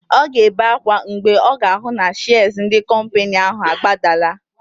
Ọ ga-ebe ákwá mgbe ọ ga-ahụ na shịas ndị kọmpịnị ahụ agbadala.